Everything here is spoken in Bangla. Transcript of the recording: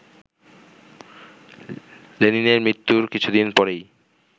লেনিনের মৃত্যুর কিছুদিন পরেই